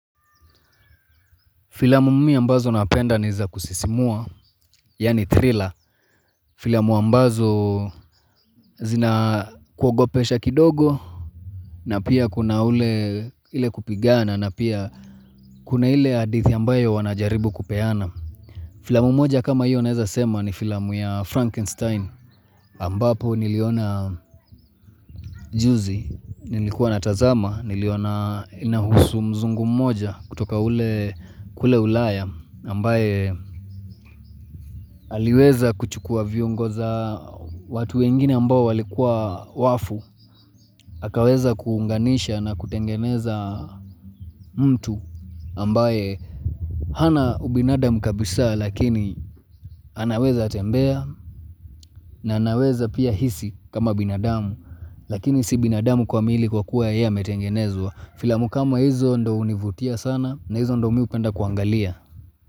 Filamumimi ambazo napenda ni za kusisimua, yani ''thriller''. Filamu ambazo zinakuogopesha kidogo, na pia kuna ule kupigana, na pia kuna ile hadithi ambayo wanajaribu kupeana. Filamu moja kama hiyo naeza sema ni filamu ya ''Frankenstein'' ambapo niliona juzi nilikuwa natazama niliona inahusu mzungu moja kutoka ule kule ulaya ambaye aliweza kuchukua viungo za watu wengine ambao walikuwa wafu. Akaweza kuunganisha na kutengeneza mtu ambaye hana ubinadamu kabisa lakini anaweza tembea na anaweza pia hisi kama binadamu Lakini si binadamu kwa mwili kwa kuwa yeye ametengenezwa Filamu kama hizo ndio hunivutia sana na hizo ndo mimi hupenda kuangalia.